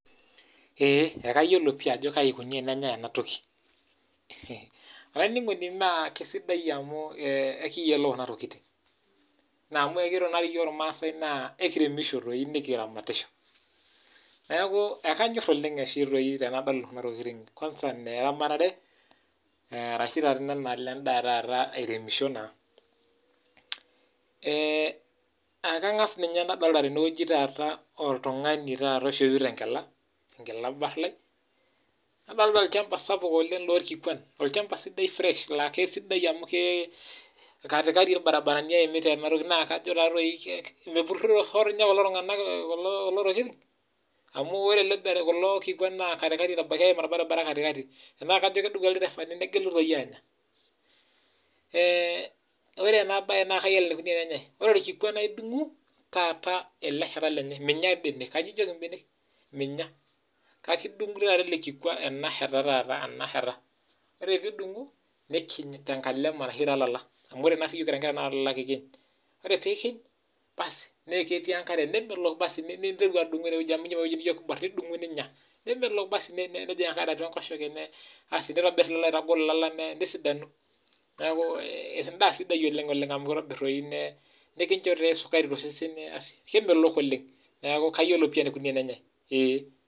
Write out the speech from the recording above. Ekayiolo pii enikoni enenyai ena toki kisidai amu ekiyiolo ena toki amu ore iyiok irmaasai naa ekiremisho nikiramatisho neeku ekanyor oleng tenadol enatoki kwanza neramatare ashu airemisho naa ekang'as adolita oltung'ani oishopito enkopia barlal nadolita olchamba sapuk loo irkikuan olchamba sidai fresh laa kisidai amu katikati irbaribarani eyimita ena toki ore ena toki naa kayiolo enikoni ene nyai ore orkikua naa edungu eleshat lenye amu minyial mbenek ore pidungu ena shata nikiny tee nkalema ashu too laala ore pikij naa ketii enkare nemelok basi ninteru adungu enewueji niborie ninyia netobir elala aitagol neeku endaa sidai oleng amu enkinjo esukari too sesen kemelok oleng neeku kayiolo pii enikoni enenyai